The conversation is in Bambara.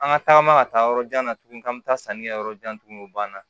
An ka tagama ka taa yɔrɔ jan na tuguni ka taa sanni kɛ yɔrɔ jan tuguni o banna